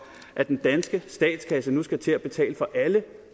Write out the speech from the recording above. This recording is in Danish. at den danske statskasse nu skal til at betale for alle